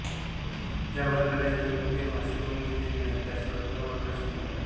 ज्या वर्णाला इतर कोणत्याही भाषेकडून घेतलेले नाही त्यास स्वतंत्र वर्ण असे म्हणतात